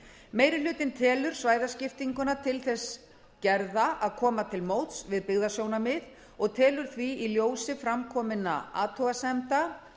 meiri hlutinn telur svæðaskiptinguna til þess gerða að koma til móts við byggðasjónarmið og telur því í ljósi fram kominna athugasemda